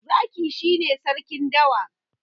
Zaki shi ne Sarkin dawa.